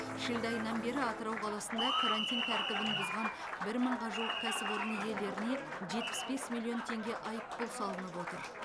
шілде айынан бері атырау қаласында карантин тәртібін бұзған бір мыңға жуық кәсіпорын иелеріне жетпіс бес миллион теңге айыппұл салынып отыр